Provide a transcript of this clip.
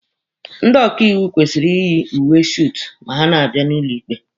Ndị ọkaiwu kwesịrị iyi uwe suutu ma ha na-abịa n'ụlọ ikpe.